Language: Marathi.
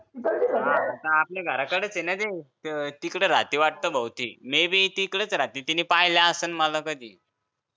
आपल्या घराकडेच ना ते तिकडं राहते भाऊ ती may be ती इकडेच राहते तीनं पाहिलं असण मला कधी